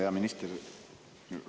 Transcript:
Hea minister!